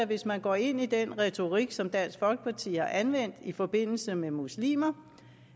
hvis man går ind i den retorik som dansk folkeparti har anvendt i forbindelse med muslimer